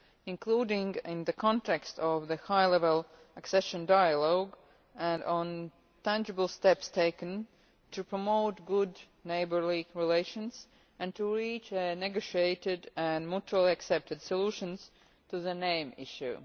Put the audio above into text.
including in the context of the high-level accession dialogue and on tangible steps taken to promote good neighbourly relations and to reach a negotiated and mutually acceptable solution for the name issue.